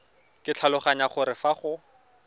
ke tlhaloganya gore fa go